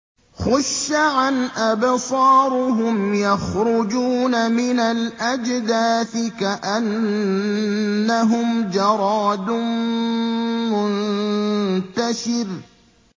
خُشَّعًا أَبْصَارُهُمْ يَخْرُجُونَ مِنَ الْأَجْدَاثِ كَأَنَّهُمْ جَرَادٌ مُّنتَشِرٌ